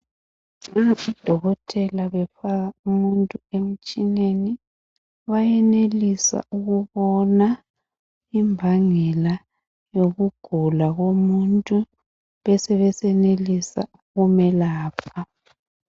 Lapha udokotela efaka umuntu bemtshineni, bayenelisa ukubona imbangela yokugula komuntu ,besebesenelisa ukumelapha.